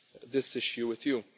this issue with you.